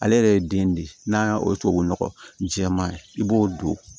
Ale yɛrɛ ye den di n'a y'a o tubabunɔgɔ jɛman ye i b'o don